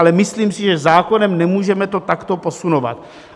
Ale myslím si, že zákonem nemůžeme to takto posunovat.